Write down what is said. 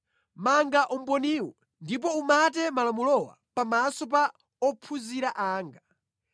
Manga umboniwu ndipo umate malamulowa pamaso pa ophunzira anga.